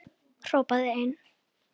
Hrópaði einn: